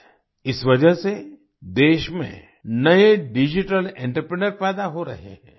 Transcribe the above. इस वजह से देश में नए डिजिटल एंटरप्रेन्योर पैदा हो रहे हैं